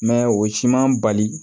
o siman bali